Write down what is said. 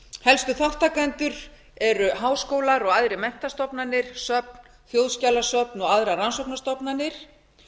helstu þátttakendur eru háskólar og aðrar menntastofnanir söfn þjóðskjalasöfn og aðrar rannsóknastofnanir